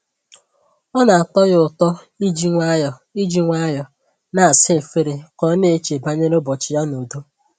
Ọ na-atọ ya ụtọ iji nwayọọ iji nwayọọ na-asa efere ka ọ na-eche banyere ụbọchị ya n'udo